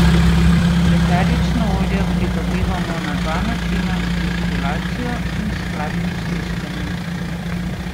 Eterična olja pridobivamo na dva načina, z destilacijo in s hladnim stiskanjem.